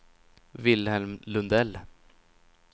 Wilhelm Lundell